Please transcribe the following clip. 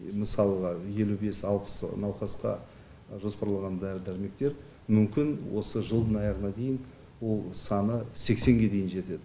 мысалға елу алпыс науқасқа жоспарлаған дәрі дәрмектер мүмкін осы жылдың аяғына дейін ол саны сексенге дейін жетеді